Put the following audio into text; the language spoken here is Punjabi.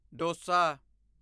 ਡੋਸਾ